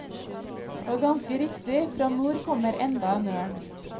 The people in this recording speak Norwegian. Og ganske riktig, fra nord kommer enda en ørn.